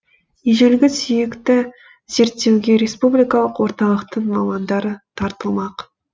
ежелгі сүйекті зерттеуге республикалық орталықтың мамандары тартылмақ